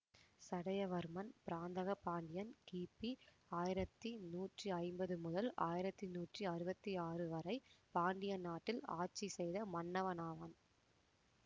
சடையவர்மன் பராந்தக பாண்டியன் கிபி ஆயிரத்தி நூற்றி ஐம்பது முதல் ஆயிரத்தி நூற்றி அறுவத்தி ஆறு வரை பாண்டிய நாட்டில் ஆட்சி செய்த மன்னனாவான்